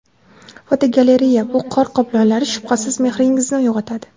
Fotogalereya: Bu qor qoplonlari shubhasiz mehringizni uyg‘otadi.